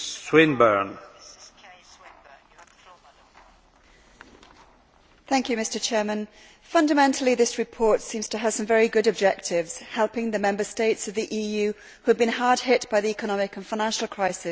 Mr Chairman, fundamentally, this report seems to have some very good objectives helping the Member States of the EU, who have been hard hit by the economic and financial crisis, via European funding.